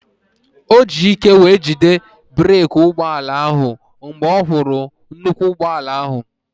O ji ike wee jide breeki ụgbọala ahụ mgbe ọ hụrụ nnukwu ụgbọala ahụ